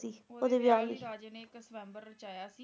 ਓਹਦੇ ਵਿਆਹ ਲਈ ਰਾਜੇ ਨੇ ਇਕ ਸ੍ਵਯੰਬਰ ਰਚਾਇਆ ਸੀ